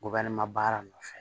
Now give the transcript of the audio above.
baara nɔfɛ